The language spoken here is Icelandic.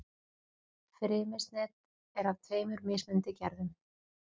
Frymisnet er af tveimur mismunandi gerðum.